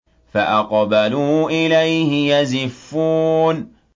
فَأَقْبَلُوا إِلَيْهِ يَزِفُّونَ